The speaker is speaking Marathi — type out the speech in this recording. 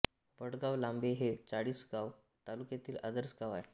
वडगाव लांबे हे चाळीसगाव तालुक्यातील आदर्श गाव आहे